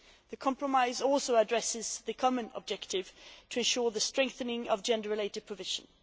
The compromise also addresses the common objective of ensuring the strengthening of gender related provisions.